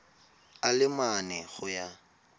a le mane go ya